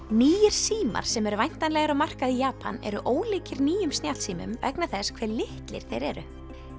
nýir símar sem eru væntanlegir á markað í Japan eru ólíkir nýjum snjallsímum vegna þess hve litlir þeir eru